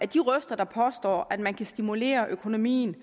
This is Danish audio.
de røster der påstår at man ikke kan stimulere økonomien